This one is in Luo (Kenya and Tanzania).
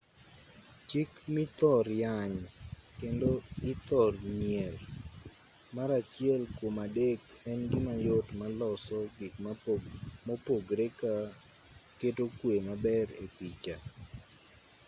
chik mithor yany kendo ithor nyier mar achiel kuom adek en gima yot maloso gik mopogre ka keto kwe maber e picha